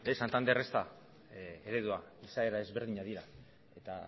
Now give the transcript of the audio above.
santander ez da eredua izaera ezberdinak dira eta